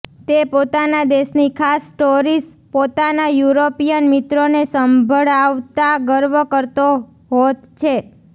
તે પોતાના દેશની ખાસ સ્ટોરિસ પોતાના યુરોપિયન મિત્રોને સંભળાવતા ગર્વ કરતો હોત છે